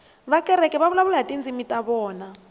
vakreste va vulavula hi tindzimi ta vona